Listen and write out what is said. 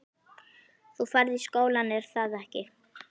Þú ferð í skólann, er að ekki?